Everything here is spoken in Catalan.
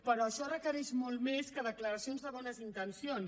però això requereix molt més que declaracions de bones intencions